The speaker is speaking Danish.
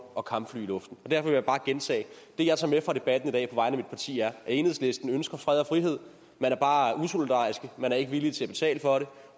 og kampfly i luften derfor vil jeg bare gentage det jeg tager med fra debatten i dag på vegne af mit parti er at enhedslisten ønsker fred og frihed man er bare usolidarisk man er ikke villig til at betale for det